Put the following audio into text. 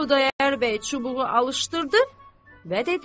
Xudayar bəy çubuğu alışdırdı və dedi: